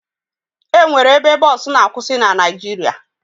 E nwere ebe bọọsụ na-akwụsị na Naịjirịa